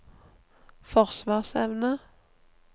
forsvarsevne